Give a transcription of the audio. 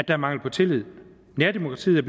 er mangel på tillid nærdemokratiet er